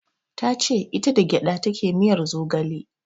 Tace ita da gyaɗa take miyar zogale